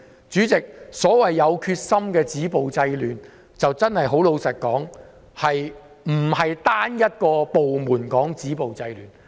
主席，所謂"有決心地止暴制亂"，老實說，並非由單一部門止暴制亂。